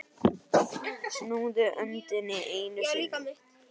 Snúðu öndinni einu sinni.